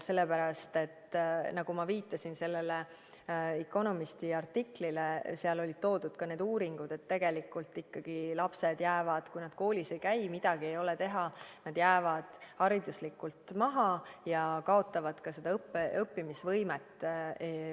Sellepärast et, nagu ma viitasin sellele The Economisti artiklile, seal olid toodud ka need uuringud, et midagi ei ole teha, tegelikult ikkagi lapsed, kui nad koolis ei käi, jäävad hariduslikult maha ja kaotavad ka õppimisvõimet.